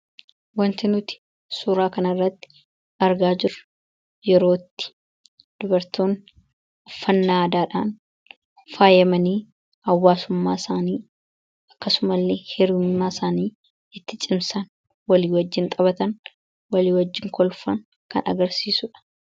Wanti nuti suuraa kanirratti argaa jiru yerootti dubartoonni uffannaa aadhaan faayamanii hawwaasummaa isaanii akkasuma illee hiriyummaa isaanii itti cimsan walii wajjiin xaphatan walii wajjiin kolfaan kan agarsiisuudha.